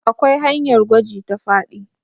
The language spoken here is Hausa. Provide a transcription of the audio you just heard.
akwai hanyar gwaji ta faɗi